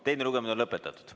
Teine lugemine on lõpetatud.